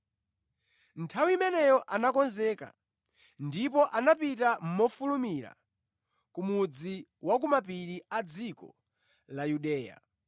Nthawi imeneyo anakonzeka ndipo anapita mofulumira ku mudzi wa ku mapiri a dziko la Yudeya,